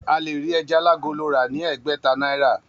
A lè rí ẹja alágolo rà ni ẹ̀ẹ́gbẹ̀ta náírà.